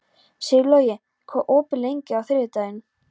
Sigurlogi, hvað er opið lengi á þriðjudaginn?